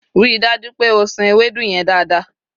ri daju pe o san Ewédú yen dada